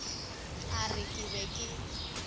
a re ke be ke